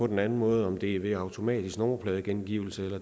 den anden måde om det er ved automatisk nummerpladegengivelse